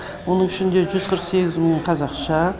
оның ішінде жүз қырық сегіз мыңы қазақша